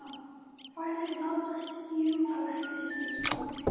Færri látast í umferðarslysum á Spáni